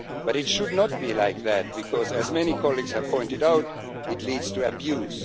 But it should not be like that, because, as many colleagues have pointed out, it leads to abuse.